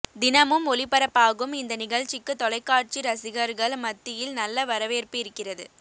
தினமும் ஒளிப்பரப்பாகும் இந்த நிகழ்ச்சிக்கு தொலைக்காட்சி ரசிகர்கள் மத்தியில் நல்ல வரவேற்ப்பு இருக்கிறது